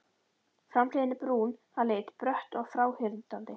Framhliðin brún að lit, brött og fráhrindandi.